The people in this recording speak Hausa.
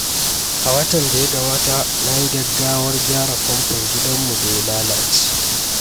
A watan da ya gabata, na yi gaggawar gyara famfon gidanmu da ya lalace.